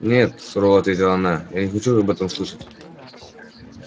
нет сурово ответила она я не хочу об этом слышать